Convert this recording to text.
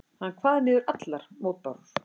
Hann kvað niður allar mótbárur.